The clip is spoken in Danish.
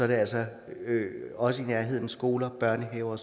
det altså også i nærheden af skoler børnehaver